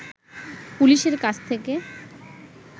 পুলিশের কাছ থেকে